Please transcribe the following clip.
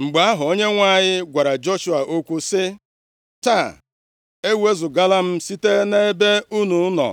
Mgbe ahụ, Onyenwe anyị gwara Joshua okwu sị, “Taa, ewezugala m site nʼebe unu nọ